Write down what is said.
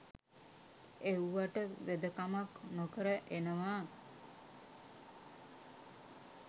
එව්වට වෙදකමක් නොකර එනවා